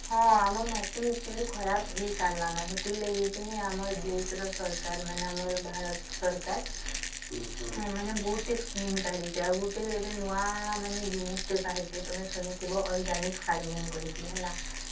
ହଁ ଆମ ମାଟି actually ଖରାପ ହେଇସାରିଲାନ ସେଥିର ଲାଗି ଆମର ଦେଶ ର ସରକାର ମାନେ ଆମର ଭାରତ ସରକାର ମାନେ ବୋହୁତ ଟି scheme କାଢିଛି ଆଉଗୋଟେ ମାନେ ଏବେ ନୂଆ ଜିନିଷ ଟେ ବାହାରିଛି ତଆମେ ଶୁଣିଥିବ